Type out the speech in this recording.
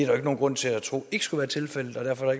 jo ikke nogen grund til at tro ikke skulle være tilfældet og derfor er